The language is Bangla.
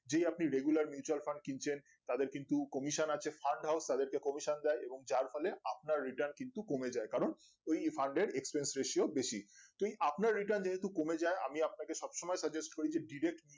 যেই আপনি regular mutual fund কিনছেন তাদের কিন্তু commission আছে fund house তাদের কে commission দেয় এবং যার ফলে আপনার return কিন্তু কমে যায় কারণ ওই fund এর exchange resieo বেশি তো এই আপনার return যেহেতু কমে যাই আমি আপনাকে সবসময় suggest করি যে direact